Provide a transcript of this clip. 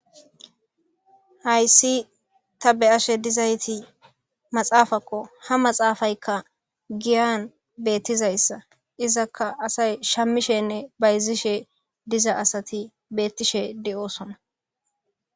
hayssi ta be ashe dizayti maxaafakko ha maxaafayka giyan beettizayssa izakka asay shammishenne bayzishe diza asati beettishe de7osona